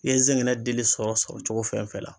I ye zɛgɛnɛ dili sɔrɔ sɔrɔ cogo fɛn fɛn na